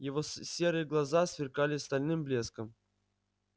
его серые глаза сверкали стальным блеском